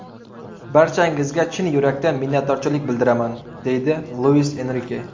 Barchangizga chin yurakdan minnatdorchilik bildiraman”, deydi Luis Enrike.